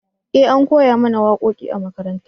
eh an koya mana waƙoƙi a makaranta